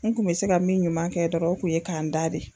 N kun bɛ se ka min ɲuman kɛ dɔrɔn o kun ye ka n da de.